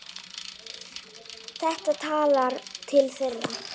Þetta talar til þeirra.